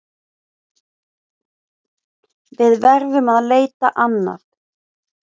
Við verðum að leita annað.